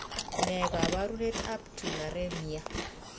Nee kaparunet ap tularemia